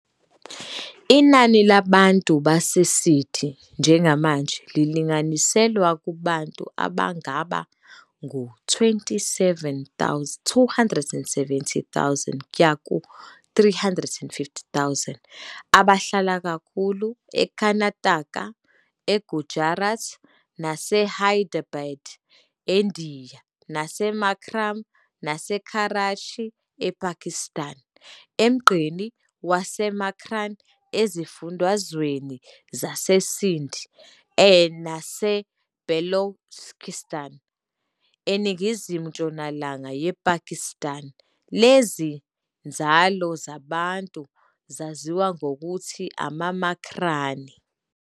Inani labantu baseSiddi njengamanje lilinganiselwa kubantu abangaba ngu-270,000-350,000, abahlala kakhulu eKarnataka, eGujarat, naseHyderabad eNdiya naseMakran naseKarachi ePakistan. Emgqeni waseMakran ezifundazweni zaseSindh naseBalochistan eningizimu-ntshonalanga yePakistan, lezi nzalo zeBantu zaziwa ngokuthi amaMakrani.